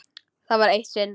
Það var eitt sinn.